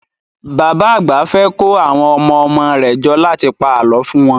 Bàbá àgbà fẹ́ kó àwọn ọmọ-ọmọ rẹ̀ jọ láti pa àlọ́ fún wọn